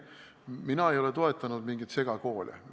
Mina ei ole toetanud mingeid segakoole.